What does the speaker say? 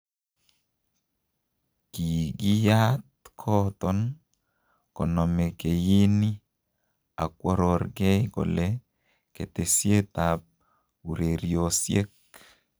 Kigiiat kooton konome keyini akwororgei kole ketesiet ab ureriosiek.